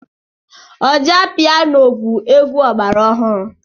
Ọjà piano bụ egwu ọgbara ọhụrụ.